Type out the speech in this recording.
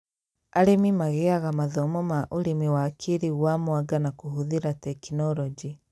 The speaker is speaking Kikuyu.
Arĩmi magĩaga mathomo ma ũrĩmi wa kĩĩrĩu wa mwanga na kũhũthĩra tekinorojĩ